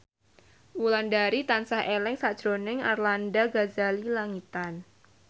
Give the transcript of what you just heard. Wulandari tansah eling sakjroning Arlanda Ghazali Langitan